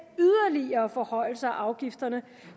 yderligere forhøjelser af afgifterne